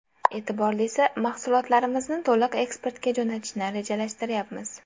E’tiborlisi, mahsulotlarimizni to‘liq eksportga jo‘natishni rejalashtirayapmiz.